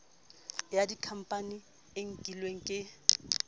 ya dikhampani e nkilweng ke